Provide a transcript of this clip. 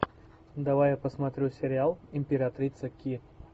давай я посмотрю сериал императрица ки